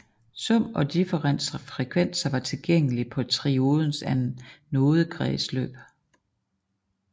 Sum og differens frekvenser var tilgængelig på triodens anodekredsløb